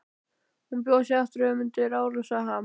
Hún bjó sig aftur í árásarham.